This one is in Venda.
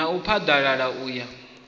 na u phaḓalala u ya